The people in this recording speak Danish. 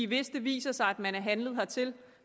hvis det viser sig at man er blevet handlet hertil